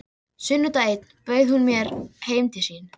Mér leið ekki illa, þóttist meira að segja vera rólegur.